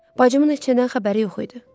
Bacımın heç nədən xəbəri yox idi.